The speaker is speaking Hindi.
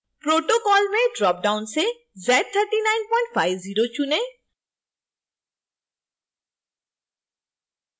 protocol में dropdown से z3950 चुनें